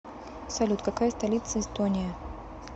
салют какая столица эстония